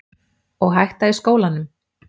Og hætta í skólanum?